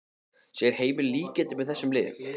Sér Heimir líkindi með þessum liðum?